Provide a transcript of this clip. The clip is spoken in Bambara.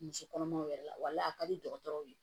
Muso kɔnɔmaw yɛrɛ la wala a ka di dɔgɔtɔrɔw ye